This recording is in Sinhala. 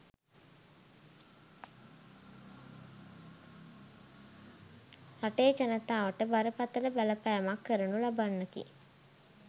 රටේ ජනතාවට බරපතල බලපෑමක් කරනු ලබන්නකි.